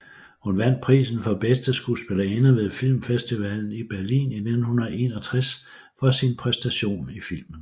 Hun vandt prisen for bedste skuespillerinde ved Filmfestivalen i Berlin i 1961 for sin præstation i filmen